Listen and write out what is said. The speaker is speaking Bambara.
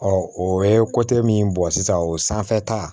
o ye min bɔ sisan o sanfɛ ta